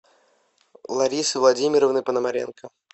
ларисы владимировны пономаренко